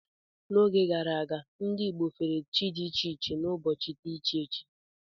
N'oge gara aga, ndị Igbo fere chi dị iche iche n'ụbọchị dị iche iche.